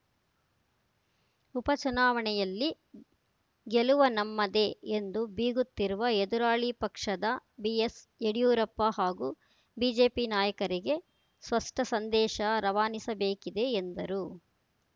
ಉಪಚುನಾವಣೆಯಲ್ಲಿ ಗೆಲುವ ನಮ್ಮದೆ ಎಂದು ಬೀಗುತ್ತಿರುವ ಎದುರಾಳಿ ಪಕ್ಷದ ಬಿಎಸ್‌ ಯಡಿಯೂರಪ್ಪ ಹಾಗೂ ಬಿಜೆಪಿ ನಾಯಕರಿಗೆ ಸ್ಪಷ್ಟಸಂದೇಶ ರವಾನಿಸಬೇಕಿದೆ ಎಂದರು